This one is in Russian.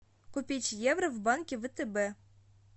купить евро в банке втб